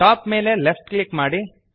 top ಮೇಲೆ left click ಮಾಡಿ